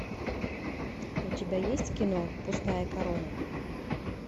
у тебя есть кино пустая корона